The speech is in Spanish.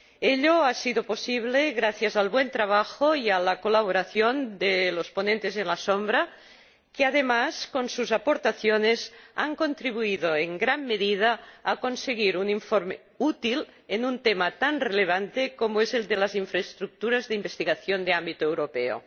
La unanimidad ha sido posible gracias al buen trabajo y a la colaboración de los ponentes alternativos, que, además, con sus aportaciones, han contribuido en gran medida a conseguir un informe útil en un tema tan relevante como es el de las infraestructuras de investigación de ámbito europeo.